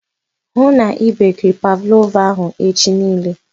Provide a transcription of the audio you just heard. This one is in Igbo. Ịhụ na i bekiri pavlova ahụ echi nille